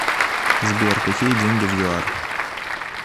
сбер какие деньги в юар